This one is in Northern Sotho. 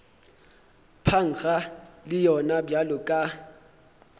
phankga le yona bjalo ka